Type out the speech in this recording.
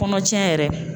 Kɔnɔ tiɲɛ yɛrɛ